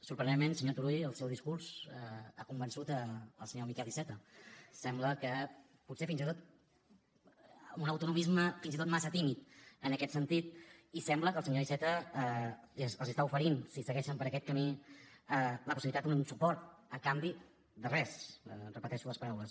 sorprenentment senyor turull el seu discurs ha convençut el senyor miquel iceta sembla que potser fins i tot amb un autonomisme fins i tot massa tímid en aquest sentit i sembla que el senyor iceta els està oferint si segueixen per aquest camí la possibilitat d’un suport a canvi de res repeteixo les paraules